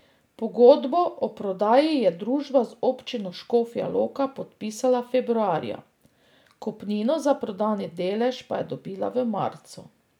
Pogodbo o prodaji je družba z občino Škofja Loka podpisala februarja, kupnino za prodani delež pa je dobila v marcu.